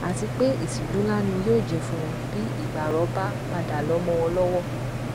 àti pé ìtìjú ńlá ni yóò jẹ fún wọn bí ìgbárò bá padà lọ mọ wọn lọwọ